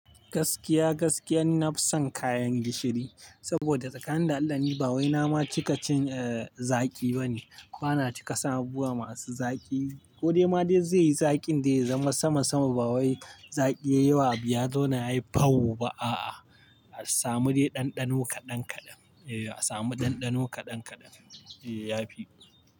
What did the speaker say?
Gaskiya gaskiyan nafisan kayan gishiri, saboda tsakanin da Allah ni ba wai nama cikacin, eh, zaƙi bane. Bana cika san abubuwa masu zaƙi. Ko dai ma dai zai yi zaƙin dai ya zama sama sama ba wai zaƙi yayi wa abu ya zauna yayi fau ba a'a. A samu dai ɗanɗano kaɗan kaɗan. Eh a samu ɗanɗano kaɗan kaɗan. Eh ya fi.